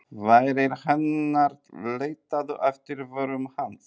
Varir hennar leituðu eftir vörum hans.